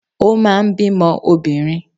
Ó máa ń bímọ obìnrin